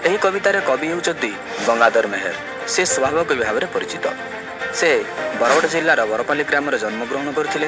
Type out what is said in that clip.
ଏହି କବିତାର କବି ହେଉଛନ୍ତି ଗଙ୍ଗାଧର ମେହେର ସେ ସ୍ଵଭାବକବି ଭାବରେ ପରିଚିତ। ସେ ବରଗଡ଼ ଜିଲ୍ଲାରେ ବରପାଲି ଗ୍ରାମରେ ଜନ୍ମଗ୍ରହଣ କରିଥିଲେ।